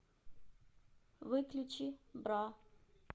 выключи бра